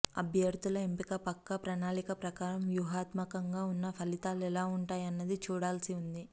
అభ్యర్థుల ఎంపిక పక్కా ప్రణాళిక ప్రకారం వ్యూహాత్మకంగానే ఉన్నా ఫలితాలు ఎలా ఉంటాయన్నది చూడాల్సి ఉంది